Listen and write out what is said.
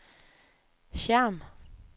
Hjerm